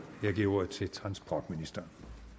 jeg giver ordet til transportministeren